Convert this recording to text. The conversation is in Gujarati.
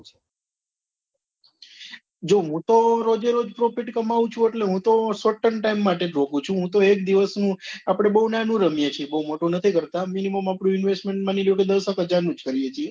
જો હું તો રોજે રોજ profit કમાઉ છુ એટલે હું તો short time માટે જ રોકું છુ હું તો એક દિવસ નું આપડે બૌ નાનું રમીએ છીએ બૌ મોટું નથી કરતા minimum આપડું investment માની લો કે દસ એક હજાર નું છે કરીએ છીએ